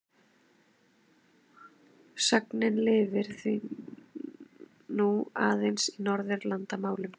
Sögnin lifir því nú aðeins í Norðurlandamálum.